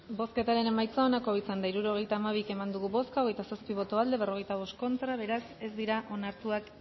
bozketaren emaitza onako izan da hirurogeita hamabi eman dugu bozka hogeita zazpi boto aldekoa cuarenta y cinco contra beraz ez dira onartuak